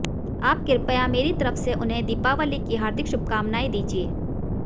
आप कृपया मेरी तरफ से उन्हें दीपावली की हार्दिक शुभकामनाएं दीजिए